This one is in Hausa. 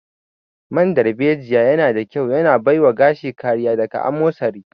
Man darbejiya yana da ƙyau yana baiwa gashi kariya daga amosari